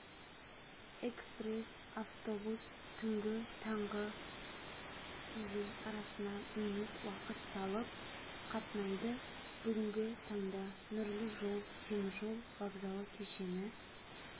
экспресс-автобус түнгі таңғы дейін арасына минут уақыт салып қатынайды бүгінгі таңда нұрлы жол теміржол вокзалы кешені